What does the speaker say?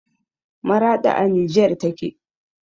Maraɗi a nijer take